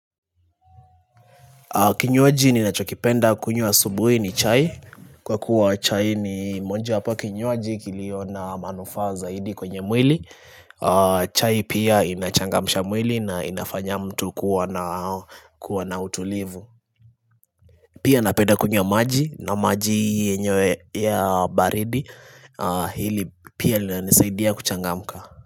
Kinywaji ninachokipenda kunywa asubuhi ni chai, kwa kuwa chai ni mojawapo wa kinywaji kilio na manufaa zaidi kwenye mwili chai pia inachangamsha mwili na inafanya mtu kuwa na utulivu Pia napeda kunywa maji na maji yenyewe ya baridi Hili pia linanisaidia kuchangamka.